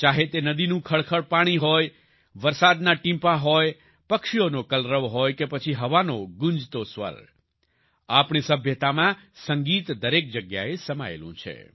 ચાહે તે નદીનું ખળખળ પાણી હોય વરસાદના ટીપાં હોય પક્ષીઓનો કલરવ હોય કે પછી હવાનો ગૂંજતો સ્વર આપણી સભ્યતામાં સંગીત દરેક જગ્યાએ સમાયેલું છે